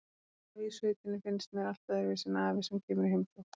Afi í sveitinni finnst mér allt öðruvísi en afi sem kemur í heimsókn.